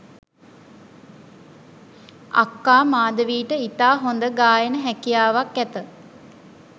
අක්කා මාධවීට ඉතා හොඳ ගායන හැකියාවක් ඇත